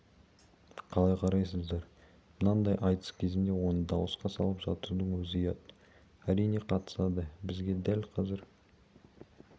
қалай қарайсыздар мынандай айтыс кезінде оны дауысқа салып жатудың өзі ұят әрине қатысады бізге дәл қазір